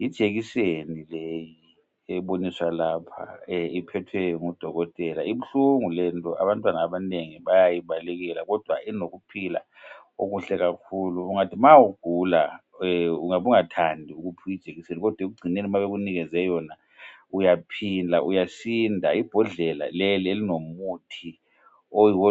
Yijekiseni leyi eboniswa lapha iphethwe ngudokotela ibuhlungu lento abantwana abanengi bayayi balekela kodwa inokuphila okuhle kakhulu ungathi ma ugula ungabe ungathandi ukuphiwa ijekiseni kodwa ekugcineni ma bekunikeze yona uyaphila ,uyasinda ibhodlela leli elilomuthi oyiwo